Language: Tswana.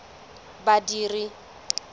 badiri